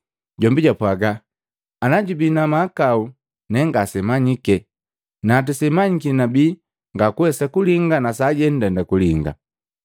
Jombi jaapwagila, “Ana jombi jubii na mahakau ne ngasemanyike. Natu semanyiki nabii ngakuwesa kulinga na sajenu ndenda kulinga.”